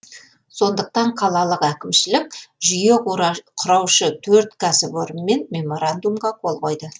сондықтан қалалық әкімшілік жүйеқұра құраушы төрт кәсіпорынмен меморандумға қол қойды